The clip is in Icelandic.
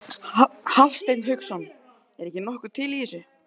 Hafsteinn Hauksson: Er ekki nokkuð til í þessu?